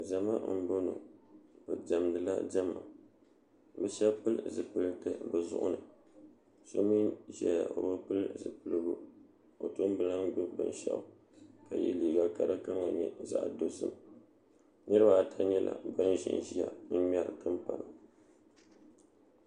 zama n bɔŋɔ be dɛmdila dɛma be shɛb piɛli zipiɛlitɛ be zuɣ' ni so mi ʒɛya o be piɛli zipiɛligu o tum be lan gbabi bɛnshɛɣ' ka yɛ liga kadi kama nyɛ zaɣ' dozim niribaata nyɛla ban ʒɛnya n ŋmɛri tumpana